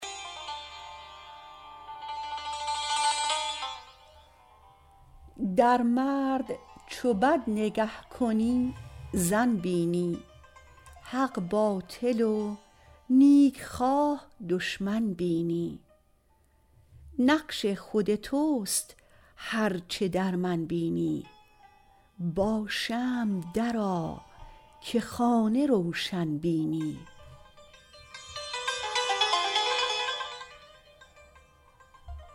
در مرد چو بد نگه کنی زن بینی حق باطل و نیکخواه دشمن بینی نقش خود تست هر چه در من بینی با شمع درآ که خانه روشن بینی